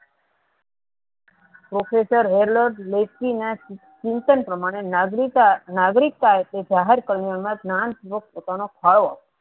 professor Chintan પ્રમાણે નાગરિકા નાગ્રીકતા એ જે જાહેર કરવા મા પોતાનો થાળો